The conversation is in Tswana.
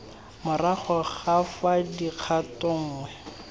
morago ga fa kgato nngwe